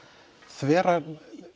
þvera